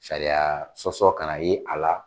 Sariya sɔsɔ ka na ye a la